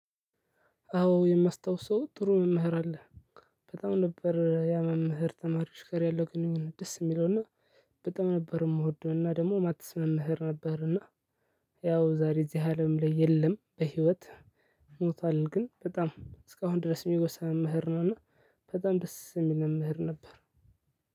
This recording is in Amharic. አዎ የማስታውሰው ጥሩ መምህር አለ። በጣም ነበር ያ መምህር ተማሪዎች ጋር ያለው ግንኙነት ደስ የሚለውና በጣም ነበር። የምወደውና ደግሞ ማትስ መምህር ነበርና። ያው ዛሬ እዚህ አለም ላይ የለም በህይወት ሞቷል። ግን በጣም እስካሁን ድረስ የሚወሳ መምህር ነው እና። በጣም ደስ የሚል መምህር ነበር።